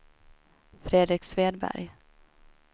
Fredrik Svedberg